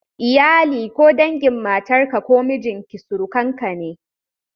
Iyali ko dangin matarka ko mijinki surukanka ne.